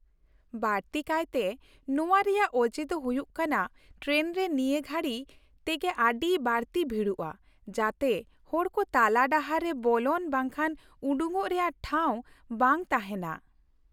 ᱵᱟᱹᱲᱛᱤ ᱠᱟᱭᱛᱮ ᱱᱚᱶᱟ ᱨᱮᱭᱟᱜ ᱚᱡᱮ ᱫᱚ ᱦᱩᱭᱩᱜ ᱠᱟᱱᱟ ᱴᱨᱮᱱ ᱨᱮ ᱱᱤᱭᱟᱹ ᱜᱷᱟᱹᱲᱤ ᱛᱮᱜᱮ ᱟᱹᱰᱤ ᱵᱟᱹᱲᱛᱤ ᱵᱷᱤᱲᱚᱜᱼᱟ ᱡᱟᱛᱮ ᱦᱚᱲ ᱠᱚ ᱛᱟᱞᱟᱰᱟᱦᱟᱨ ᱨᱮ ᱵᱚᱞᱚᱱ ᱵᱟᱝᱠᱷᱟᱱ ᱩᱰᱩᱠᱚᱜ ᱨᱮᱭᱟᱜ ᱴᱷᱟᱶ ᱵᱟᱝ ᱛᱟᱦᱮᱱᱟ ᱾